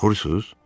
Qorxursunuz?